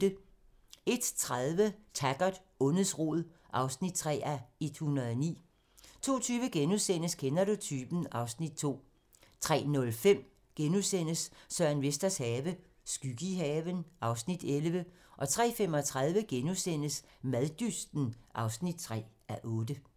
01:30: Taggart: Ondets rod (3:109) 02:20: Kender du typen? (Afs. 2)* 03:05: Søren Vesters have - skygge i haven (Afs. 11)* 03:35: Maddysten (3:8)*